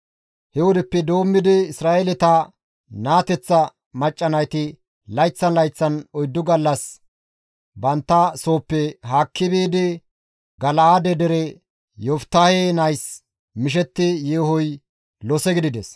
He wodeppe doommidi Isra7eeleta naateththa macca nayti layththan layththan oyddu gallas bantta sooppe haakki biidi Gala7aade dere Yoftahe nays mishetti yeehoy lose gidides.